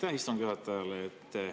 Aitäh istungi juhatajale!